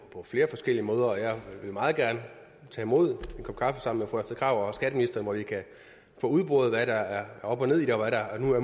flere forskellige måder og jeg vil meget gerne tage imod en kop kaffe sammen med fru astrid krag og skatteministeren hvor vi kan få udboret hvad der er op og ned i det og